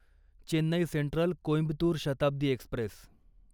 Chennai Central Coimbatore Shatabdi Express